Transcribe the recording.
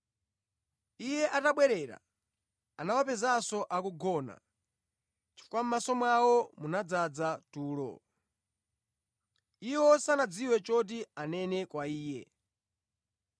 Iye atabwerera, anawapezanso akugona, chifukwa mʼmaso mwawo munadzaza tulo. Iwo sanadziwe choti anene kwa Iye.